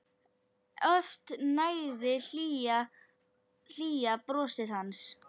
Oft nægði hlýja brosið hans.